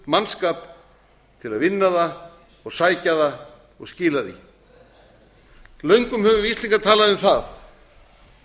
hörkumannskap til að vinna það og sækja það og skila því löngum höfum við íslendingar talað um það